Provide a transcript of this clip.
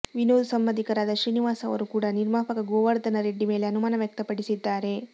ವಿನೋದ್ ಸಂಬಂಧಿಕರಾದ ಶ್ರೀನಿವಾಸ್ ಅವರು ಕೂಡಾ ನಿರ್ಮಾಪಕ ಗೋವರ್ಧನರೆಡ್ಡಿ ಮೇಲೆ ಅನುಮಾನ ವ್ಯಕ್ತಪಡಿಸಿದ್ದಾರೆ